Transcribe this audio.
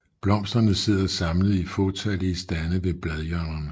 Blomsterne sidder samlet i fåtallige stande ved bladhjørnerne